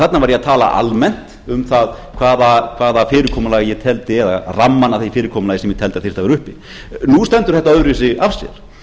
þarna var ég að tala almennt um það hvaða fyrirkomulag ég teldi eða rammann að því fyrirkomulagi sem ég teldi að þyrfti að vera uppi nú stendur þetta öðruvísi af sér